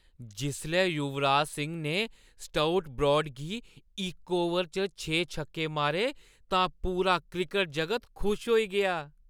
जिसलै युवराज सिंह ने Stuart Broad गी इक ओवर च छे छक्के मारे, तां पूरा क्रिकट जगत खुश होई गेआ।